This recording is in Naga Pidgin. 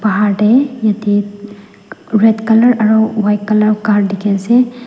Pahar tey yitey red color aro white color car dikhi ase.